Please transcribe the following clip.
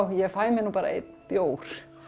ég fæ mér nú bara einn bjór